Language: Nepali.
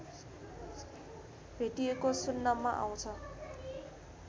भेटिएको सुन्नमा आउँछ